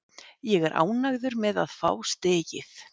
Ég er ánægður með að fá stigið.